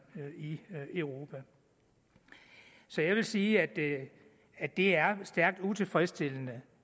i europa så jeg vil sige at at det er stærkt utilfredsstillende